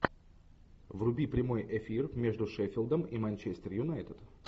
вруби прямой эфир между шеффилдом и манчестер юнайтед